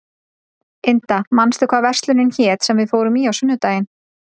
Inda, manstu hvað verslunin hét sem við fórum í á sunnudaginn?